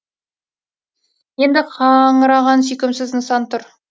енді қаңыраған сүйкімсіз нысан тұр